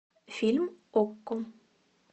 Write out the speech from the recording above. фильм окко